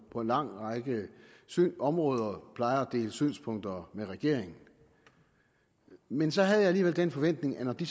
på en lang række områder plejer at dele synspunkter med regeringen men så havde jeg alligevel den forventning at når de